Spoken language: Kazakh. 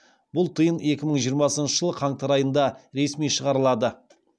бұл тиын екі мың жиырмасыншы жылы қаңтар айында ресми шығарылады